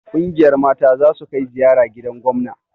Ƙungiyar mata zasu kai ziyara gidan gomna